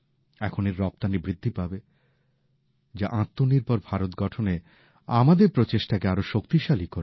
এখন এর রপ্তানি বৃদ্ধি পাবে যা আত্মনির্ভর ভারত গঠনে আমাদের প্রচেষ্টাকে আরো শক্তিশালী করবে